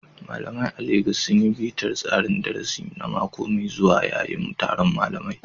Malamai a Legas sun yi bitar tsarin darasi na mako mai zuwa yayin taron malamai.